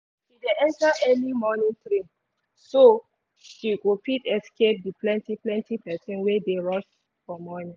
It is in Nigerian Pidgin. she dey enter early morning train so she go fit escape the plenty plenty pesin wey dey rush for morning